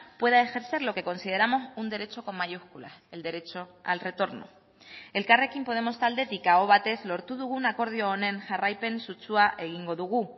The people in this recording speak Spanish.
pueda ejercer lo que consideramos un derecho con mayúsculas el derecho al retorno elkarrekin podemos taldetik aho batez lortu dugun akordio honen jarraipen sutsua egingo dugu